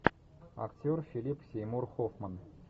актер филип сеймур хоффман